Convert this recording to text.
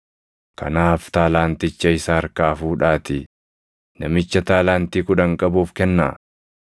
“ ‘Kanaaf taalaanticha isa harkaa fuudhaatii namicha taalaantii kudhan qabuuf kennaa.